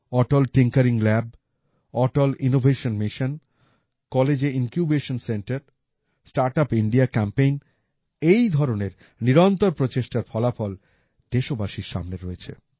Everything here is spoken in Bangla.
অটল tinkering lab Atal innovation mission কলেজে incubation centre startup India campaign এই ধরনের নিরন্তর প্রচেষ্টার ফলাফল দেশবাসীর সামনে রয়েছে